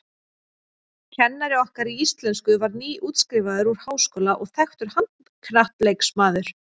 Kennari okkar í íslensku var nýútskrifaður úr háskóla og þekktur handknattleiksmaður.